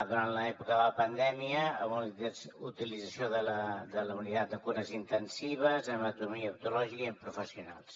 durant l’època de la pandèmia amb la utilització de la unitat de cures intensives anatomia oncològica i amb professionals